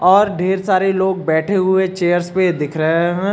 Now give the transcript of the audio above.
और ढेर सारे लोग बैठे हुए चेयर्स पे दिख रहे हैं।